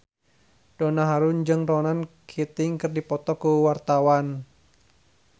Donna Harun jeung Ronan Keating keur dipoto ku wartawan